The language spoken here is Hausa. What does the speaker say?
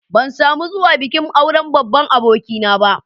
Ban samu zuwa bikin auren babban abokina ba.